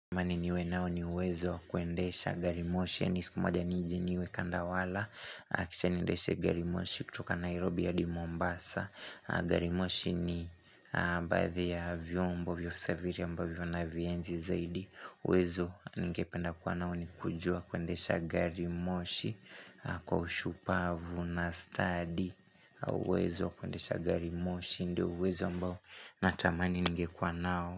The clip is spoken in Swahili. Tamani niwe nao ni uwezo kuendesha gari moshi. Nisikumaga nijeniwe kandawala. Kisha nendeshe garimoshi kutoka Nairobi hadi Mombasa. Garimoshi ni baadhi ya vyombo vya usafiri ambvyo unavienzi zaidi. Uwezo ningependa kuwanao ni kujua kuendesha garimoshi kwa ushupavu na stadi. Au uwezo kuendesha garimoshi ndiyo uwezo ambao natamani ningekwa nao.